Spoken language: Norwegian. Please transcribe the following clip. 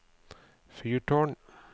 fyrtårn